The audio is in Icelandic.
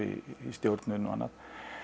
stjórnun og annað